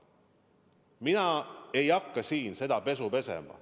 Mina ei hakka siin seda pesu pesema.